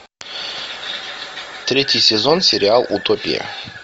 третий сезон сериал утопия